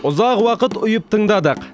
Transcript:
ұзақ уақыт ұйып тыңдадық